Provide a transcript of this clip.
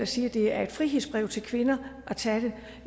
siger at det er et frihedsbrev til kvinder at tage det